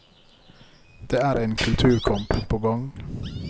Det er en kulturkamp på gang.